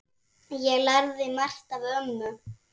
Ég lærði margt af ömmu.